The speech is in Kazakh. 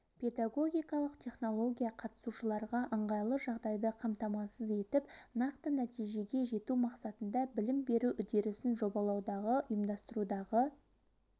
педагогикалық технология қатысушыларға ыңғайлы жағдайды қамтамасыз етіп нақты нәтижеге жету мақсатында білім беру үдерісін жобалаудағы ұйымдастырудағы